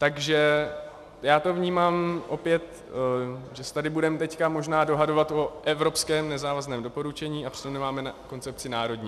Takže já to vnímám opět, že se tady budeme teď možná dohadovat o evropském nezávazném doporučení, a přitom nemáme koncepci národní.